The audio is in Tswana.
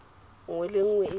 nngwe le nngwe e ja